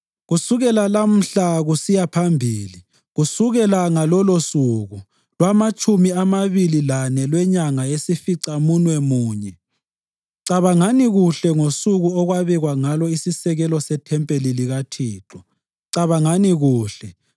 ‘Kusukela lamhla kusiya phambili, kusukela ngalolusuku lwamatshumi amabili lane lwenyanga yesificamunwemunye, cabangani kuhle ngosuku okwabekwa ngalo isisekelo sethempeli likaThixo. Cabangani kuhle: